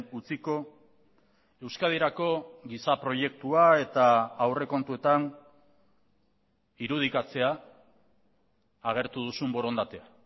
utziko euskadirako giza proiektua eta aurrekontuetan irudikatzea agertu duzun borondatea